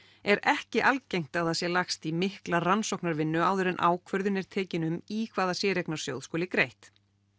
er ekki algengt að það sé lagst í mikla rannsóknarvinnu áður en ákvörðun er tekin um í hvaða séreignarsjóð skuli greitt